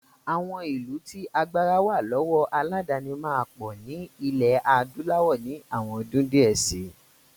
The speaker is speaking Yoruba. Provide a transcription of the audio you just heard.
Àwọn ìlú tí agbára wà lọ́wọ́ aládàáni máa pọ̀ ní ilẹ̀ adúláwọ̀ ní àwọn ọdún díẹ̀ si.